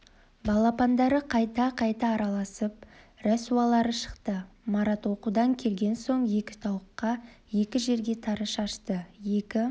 балапандары қайта-қайта араласып рәсуалары шықты марат оқудан келген соң екі тауыққа екі жерге тары шашты екі